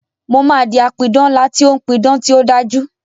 Mo máa di apidán ńlá tí ó ń pí idán tí ó dájú